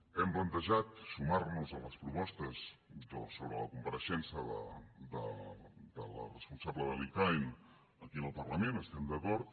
hem plantejat sumar nos a les propostes sobre la compareixença de la responsable de l’icaen aquí al parlament hi estem d’acord